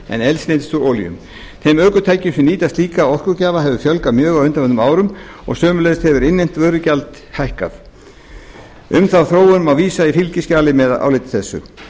en eldsneytis og olíum þeim ökutækjum sem nýta slíka orkugjafa hefur fjölgað mjög á undanförnum árum og sömuleiðis hefur innlent vörugjald hækkað um þá þróun má vísa í fylgiskjali með áliti þessu